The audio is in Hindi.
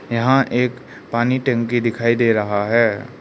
यहां एक पानी टंकी दिखाई दे रहा है।